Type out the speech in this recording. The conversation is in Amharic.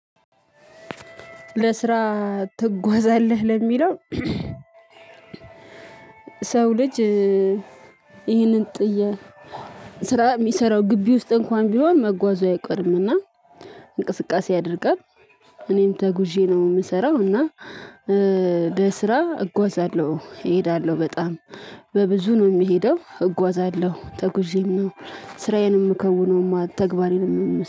ለስራ ትጓዛለህ ለሚለው? ሰው ልጅ ይህንን ጥያቄ ስራ የሚሰራው ግቢ ውስጥ እንኳን ቢሆን መጓዙ አይቀርም። እና እንቅስቃሴ አድርገን እኔም ተጉዤ ነው የምሰራው። እና በስራ እጓዛለሁ እሄዳለሁ በጣም በብዙ ነው የሚሄደው እጓዛለሁ። ተጉዤም ስራዬንም ሚከውነው ተግበሬንም